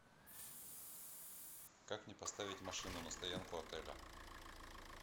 как мне поставить машину на стоянку отеля